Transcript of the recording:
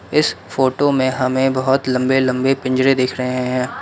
इस फोटो में हमें बहोत लंबे लंबे पिंजरे दिख रहे हैं।